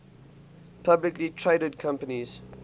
publicly traded companies